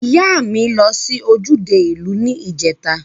Iya mi lo si ojude iu ni ijeta.